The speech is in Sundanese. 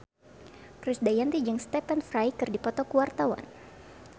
Krisdayanti jeung Stephen Fry keur dipoto ku wartawan